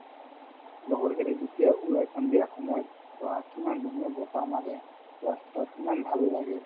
লগৰ কেইটাই যেতিয়া ওলাই সন্ধিয়া সময়ত চোৱা কিমান ধুনীয়া বতাহ মাৰে ৰাস্তাত কিমান ভাল লাগে